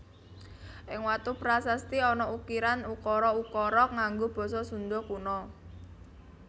Ing watu prasasti ana ukiran ukara ukara nganggo basa Sunda Kuna